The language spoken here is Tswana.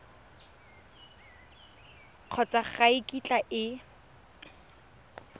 kgotsa ga e kitla e